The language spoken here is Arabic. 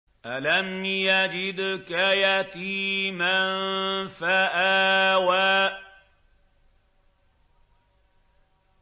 أَلَمْ يَجِدْكَ يَتِيمًا فَآوَىٰ